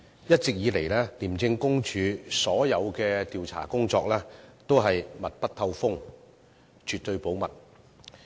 一直以來，廉政公署所有調查工作都是密不透風，絕對保密。